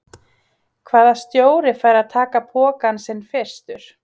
Hvaða stjóri fær að taka pokann sinn fyrstur?